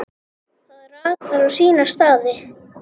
Það ratar á sína staði.